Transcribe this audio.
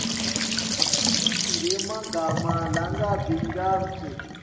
ngemagama langabi ngaphasi